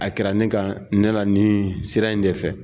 A kɛra ne kan ne la nin sira in de fɛ